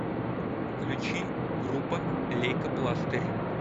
включи группа лейкопластырь